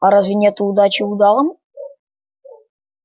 а разве нет удачи удалому